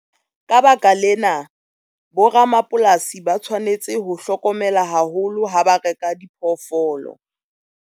Ka baka lena, boramapolasi ba tshwanetse ho hlokomela haholo ha ba reka diphoofolo.